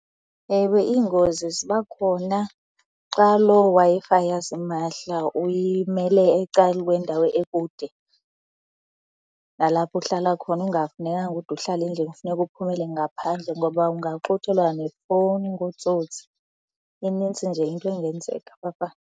Ewe, iingozi ziba khona xa loo Wi-Fi yasimahla uyimele ecaleni kwendawo ekude nalapha uhlala khona ingafunekanga ude uhlale endlini. Kufuneka uphumele ngaphandle ngoba ungaxuthelwa nefowuni ngootsotsi. Inintsi nje into engenzeka .